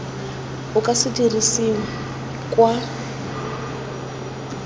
o ka se dirisiwe kwa